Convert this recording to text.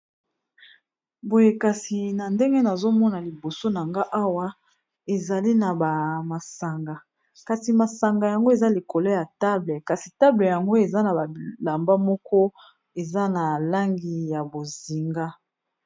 Boye kasi na ndenge nazomona liboso na nga awa ezali na ba masanga kasi masanga yango eza likolo ya table kasi table yango eza na ba bilamba moko eza na langi ya bozinga.